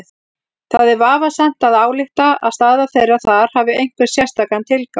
Það er vafasamt að álykta að staða þeirra þar hafi einhvern sérstakan tilgang.